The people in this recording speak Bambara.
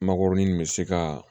Makɔrɔni nin bɛ se ka